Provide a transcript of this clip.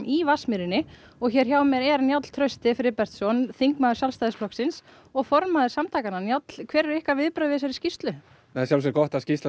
í Vatnsmýri hjá mér er Njáll Trausti Friðbertsson þingmaður Sjálfstæðisflokksins og formaður samtakanna Njáll hver eru ykkar viðbrögð við þessari skýrslu það er gott að skýrslan